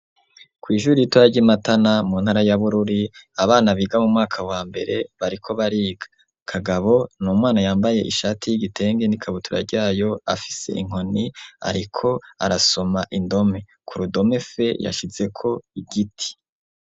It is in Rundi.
Kw'ishure ritoya ry'imatana mu ntara ya bururi Abana biga mumwaka wa mbere bariko bariga kagabo n'umwana y'ambaye ishati y'igitenge nikabutura ryayo afise inkoni ariko arasoma indome f yashizeko igiti.